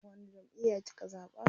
Wani jamʼiya kika zaɓa?